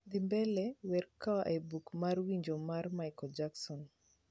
dhi mbele wer koa e buk mar winjo mar michael jackson